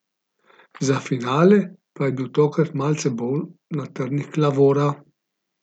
Za finale pa je bil tokrat malce bolj na trnih Klavora.